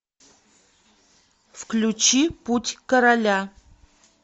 включи путь короля